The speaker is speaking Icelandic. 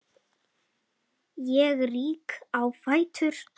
Ég rýk á fætur.